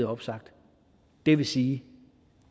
opsagt det vil sige